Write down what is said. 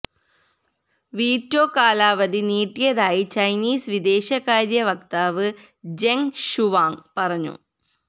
veto കാലാവധി നീട്ടിയതായി Chinese വിദേശകാര്യ വക്താവ് ജെങ് ഷുവാങ്ങ് പറഞ്ഞു